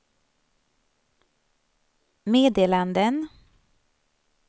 meddelanden